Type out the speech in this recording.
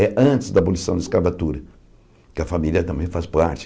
É antes da abolição da escravatura, que a família também faz parte.